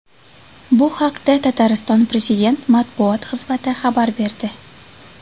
Bu haqda Tatariston prezident matbuot xizmati xabar berdi .